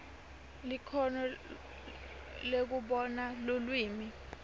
likhono lekubona lulwimi